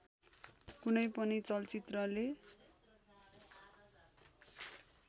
कुनै पनि चलचित्रले